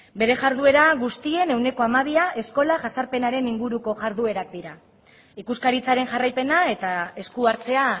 bere jarduera guztien ehuneko hamabia eskola jazarpenaren inguruko jarduerak dira ikuskaritzaren jarraipena eta esku hartzea